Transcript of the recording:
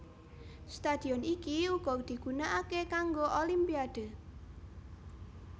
Stadion iki uga digunakake kanggo Olimpiade